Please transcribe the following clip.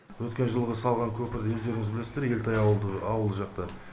өткен жылғы салған көпірді өздеріңіз білесіздер елтай ауылды жақта